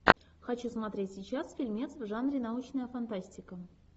хочу смотреть сейчас фильмец в жанре научная фантастика